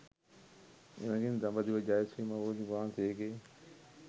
එමඟින් දඹදිව ජය ශ්‍රී මහා බෝධීන් වහන්සේගේ